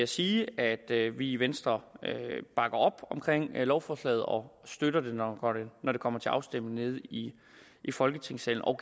sige at vi i venstre bakker op omkring lovforslaget og støtter det når det kommer til afstemning i folketingssalen og